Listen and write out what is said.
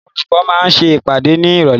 Àwọn olùkọ́ máa ṣe ìpàdé ní Ìrọ̀lẹ́.